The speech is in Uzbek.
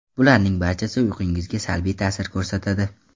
Bularning barchasi uyqungizga salbiy ta’sir ko‘rsatadi.